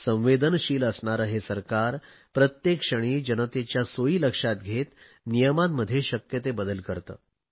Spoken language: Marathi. संवेदनशील असणारे हे सरकार प्रत्येक क्षणी जनतेच्या सोयी लक्षात घेत नियमांमध्ये शक्य ते बदल करते